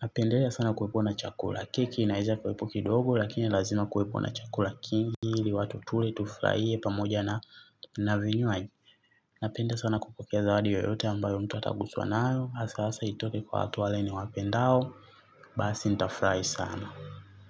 Napendelea sana kuwepo na chakula, keki inaeza kuwepo kidogo lakini lazima kuwepo na chakula kingi ili watu tule tufraie pamoja na na vinywaji napenda sana kupokea zawadi yoyote ambayo mtu ataguswa nayo hasaa sa itoke kwa watu wale niwapendao basi nitafrai sana.